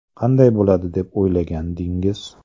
Qanday bo‘ladi deb o‘ylagandingiz?